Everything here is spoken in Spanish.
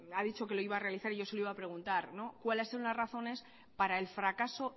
ha dicho que lo iba a realizar y yo se lo iba a preguntar cuáles son las razones para el fracaso